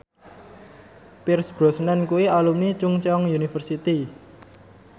Pierce Brosnan kuwi alumni Chungceong University